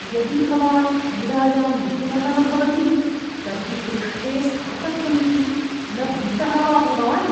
यदि भवान् क्रीडायां निपुणः न भवति तर्हि पृष्ठे स्थातव्यमिति न भीतः वा भवान्?